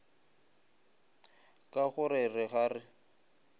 ka go re ga re